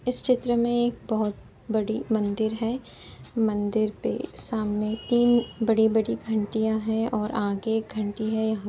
इस चित्र में एक बहुत बड़ी मंदिर हैं। मंदिर पे सामने तीन बड़ी-बड़ी घंटियाँ हैं और आगे एक घंटी हैं। यहाँ --